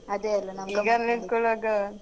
ಅದೇ ಅಲಾ ನಾವ್ ಗಮತ್ತ್ ಮಾಡಿದ್ದು